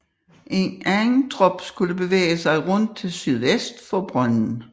En anden trop skulle bevæge sig rundt til sydvest for brønden